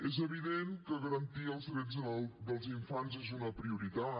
és evident que garantir els drets dels infants és una prioritat